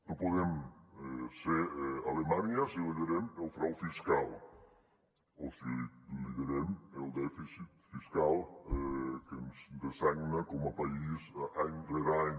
no podem ser alemanya si liderem el frau fiscal o si liderem el dèficit fiscal que ens dessagna com a país any rere any